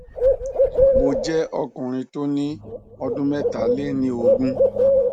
mo jẹ ọkùnrin tó ní ọdún mẹta lé ní ogún